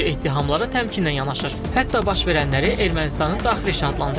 Qazprom Ermənistan və Cənubi Qafqaz Dəmir Yolları göstərilir.